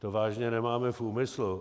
To vážně nemáme v úmyslu.